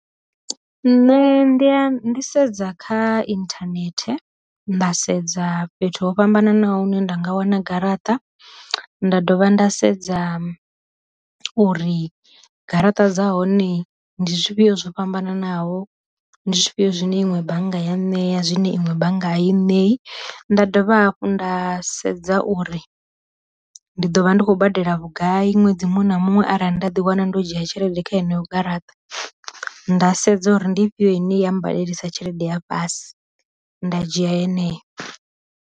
Nṋe ndi a ndi sedza kha inthanethe nda sedza fhethu ho fhambananaho ne nda nga wana garaṱa, nda dovha nda sedza uri garaṱa dza hone ndi zwifhiyo zwo fhambananaho, ndi zwifhio zwine iṅwe bannga ya ṋea zwine iṅwe banngani ṋei, nda dovha hafhu nda sedza uri ndi ḓo vha ndi khou badela vhugai ṅwedzi muṅwe na muṅwe arali nda ḓi wana ndo dzhia tshelede kha heneyo garaṱa, nda sedza uri ndi fhio ine ya badelisa tshelede ya fhasi nda dzhia yeneyo.